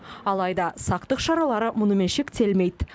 алайда сақтық шаралары мұнымен шектелмейді